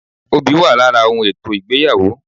Obì wà lára ohun ètò ìgbéyàwó